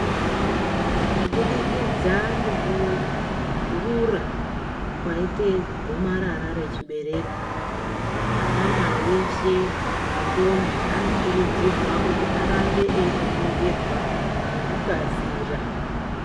Kubudikidza ngekurura kwaite gomarara rechibereko anamai eshe nentombi anokurudzirwa kuti arambe einoningirwa ngekukasira.